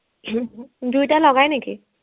দুইটা লগাই নেকি